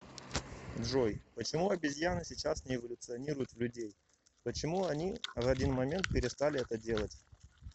джой почему обезьяны сейчас не эволюционируют в людей почему они в один момент перестали это делать